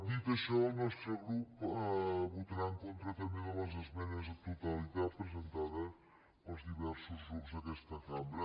dit això el nostre grup votarà en contra també de les esmenes a la totalitat presentades pels diversos grups d’aquesta cambra